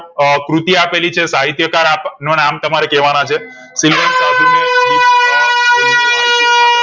તો અ કૃતિ આપેલી છે સાહિત્યકાર અ નો નામ તમારે કેવા ના છે શીલવંત સાધુ ને દીપ અ હોલવું વાળું હાઈકુ આપ્યું છે